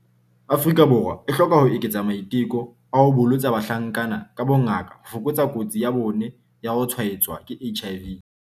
Afrika Borwa e hloka ho eketsa maiteko a ho bolotsa bahlankana ka bongaka ho fokotsa kotsi ya bona ya ho tshwaetswa ke HIV.